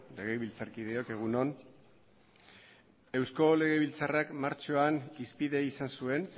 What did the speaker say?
legebiltzarkideok egun on eusko legebiltzarrak martxoan hizpide izan zuen